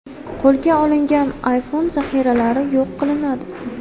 Qo‘lga olingan afyun zaxiralari yo‘q qilinadi.